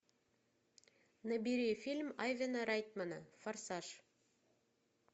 набери фильм айвена райтмана форсаж